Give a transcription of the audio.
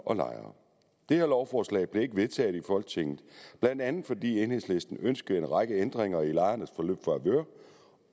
og lejere det lovforslag blev ikke vedtaget i folketinget blandt andet fordi enhedslisten ønskede en række ændringer i lejernes favør